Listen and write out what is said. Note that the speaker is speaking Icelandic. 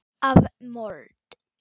Af mold.